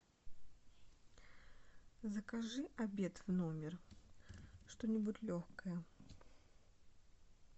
закажи обед в номер что нибудь легкое